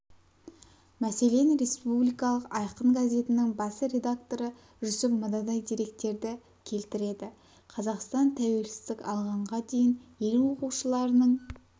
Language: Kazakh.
мәселен республикалық айқын газетінің бас рекдакторы жүсіп мынадай деректерді келтіреді қазақстан тәуелсіздік алғанға дейін ел оқушыларының